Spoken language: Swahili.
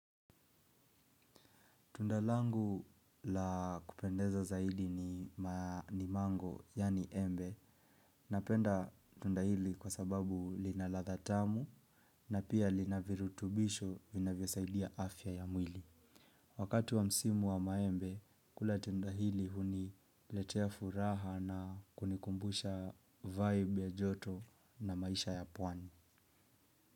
Tunda langu la kupendeza zaidi ni mango yeani embe, napenda tunda hili kwa sababu lina ladha tamu na pia lina virutubisho vinavyo saidia afya ya mwili. Wakatu wa msimu wa maembe, kula tunda hili huniletea furaha na kunikumbusha vibe ya joto na maisha ya pwani.